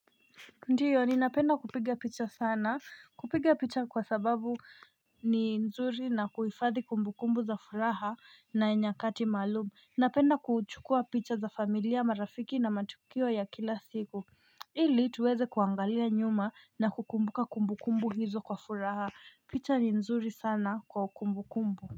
Ndiyo ninapenda kupiga picha sana kupiga picha kwa sababu ni nzuri na kuhifadhi kumbu kumbu za furaha na ya nyakati maalumu Napenda kuchukua picha za familia marafiki na matukio ya kila siku ili tuweze kuangalia nyuma na kukumbuka kumbu kumbu hizo kwa furaha picha ni nzuri sana kwa kumbu kumbu.